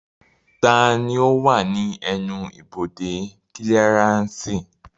Taani ó wà ní ẹnu-ibodè kílíaránsì